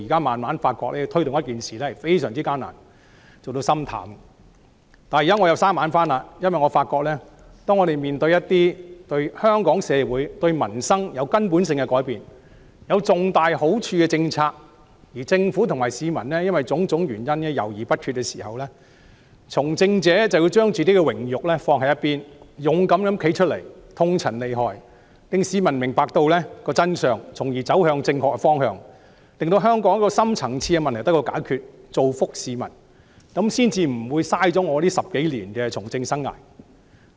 不過，我現在又回復朝氣，因為我發現當我們面對一些對香港社會、對民生有根本性改變、有重大好處的政策，而政府和市民卻因為種種原因猶豫不決時，從政者便要將榮辱放置一旁，勇敢地站出來，痛陳利害，令市民明白真相，從而走向正確的方向，令香港的深層次問題得到解決，造福市民，這樣我10多年的從政生涯才不會白費。